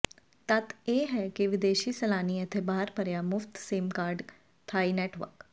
ਤੱਥ ਇਹ ਹੈ ਕਿ ਵਿਦੇਸ਼ੀ ਸੈਲਾਨੀ ਇੱਥੇ ਬਾਹਰ ਭਰਿਆ ਮੁਫ਼ਤ ਸਿਮ ਕਾਰਡ ਥਾਈ ਨੈੱਟਵਰਕ